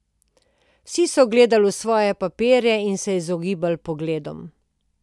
Vsi so gledali v svoje papirje in se izogibali pogledom.